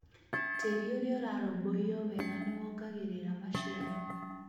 Tĩri ũrĩa ũrarũmbũiyo wega nĩ wongagĩrĩra maciaro.